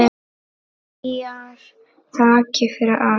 Hlýjar þakkir fyrir allt.